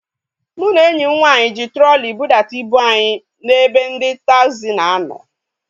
Mụ na enyi m nwaanyị ji trọli budata ibu anyị na ebe ndị taagzi na a nọ